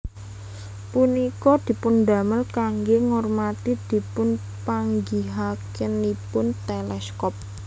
Punika dipundamel kangge ngurmati dipunpanggihakenipun teleskop